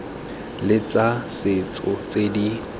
le tsa setso tse di